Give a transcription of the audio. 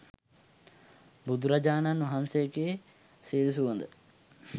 බුදුරජාණන් වහන්සේගේ සිල් සුවඳ